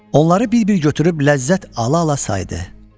Onları bir-bir götürüb ləzzət ala-ala saydı.